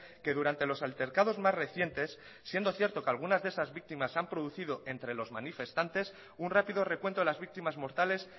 que durante los altercados más recientes siendo cierto que algunas de esas víctimas se han producido entre los manifestantes un rápido recuento de las víctimas mortales